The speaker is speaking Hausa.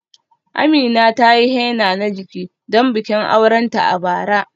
Amina ta yi henna na jiki don bikin aurenta a bara.